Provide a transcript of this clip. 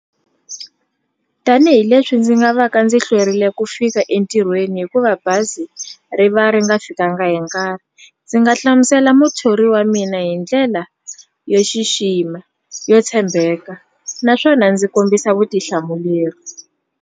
Tanihi leswi ndzi nga va ka ndzi hlwerile ku fika entirhweni hikuva bazi ri va ri nga fikanga hi nkarhi ndzi nga hlamusela muthori wa mina hi ndlela yo xixima yo tshembeka naswona ndzi kombisa vutihlamuleri.